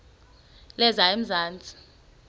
lezamanzi